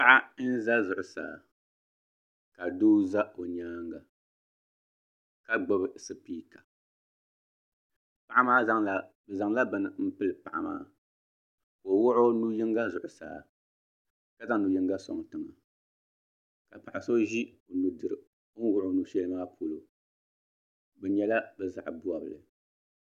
Paɣa n ʒɛ zuɣusaa ka doo ʒɛ o nyaanga ka gbubi spika bi zaŋla bini n pili paɣa maa ka o wuɣi o nu yinga zuɣusaa ka zaŋ nu yinga soŋ tiŋa ka paɣa so ʒi o ni wuɣi o nu shɛli maa polo bi nyɛla bi zaɣ bobli